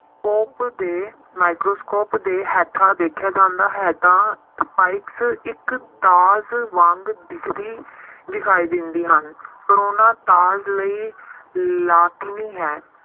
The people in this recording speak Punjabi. ਦੇ microscope ਦੇ ਹੇਠਾਂ ਦੇਖਿਆ ਜਾਂਦਾ ਹੈ ਤਾਂ spikes ਇੱਕ ਤਾਰ ਵਾਂਗ ਦਿਖਦੀ ਦਿਖਾਈ ਦਿੰਦੀ ਹਨ ਕੋਰੋਨਾ ਤਾਰ ਲਈ ਲਾਤੀਨੀ ਹੈ